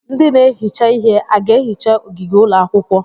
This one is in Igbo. Ndị na-ehicha ihe a ga-ehicha ogige ụlọakwụkwọ?